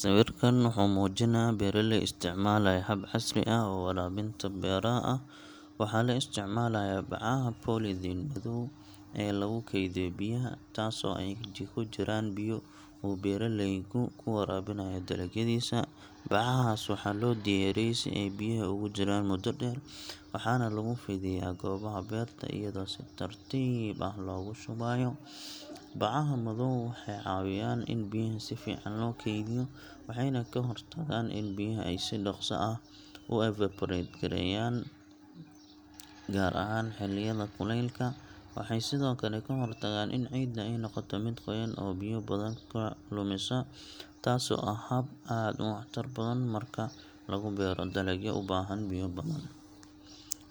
Sawirkan wuxuu muujinayaa beeraley isticmaalaya hab casri ah oo waraabinta beeraha ah. Waxaa la isticmaalayaa bacaha polythene madow oo lagu keydiyo biyaha, taasoo ay ku jiraan biyo uu beeraleygu ku waraabinayo dalagyadiisa. Bacahaas waxaa loo diyaariyey si ay biyaha ugu jiraan muddo dheer, waxaana laga fidiyaa goobaha beerta iyadoo si tartiib ah loogu shubayo. Bacaha madow waxay caawiyaan in biyaha si fiican loo kaydiyo, waxayna ka hortagaan in biyaha ay si dhaqso ah u evaporate gareeyaan, gaar ahaan xilliyada kuleylka. Waxay sidoo kale ka hortagaan in ciidda ay noqoto mid qoyan oo biyo badan ka lumisa, taasoo ah hab aad u waxtar badan marka lagu beero dalagyo u baahan biyo badan.